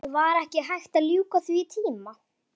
Guðný: Hafa verið einhver vankvæði, kærur eða slíkt?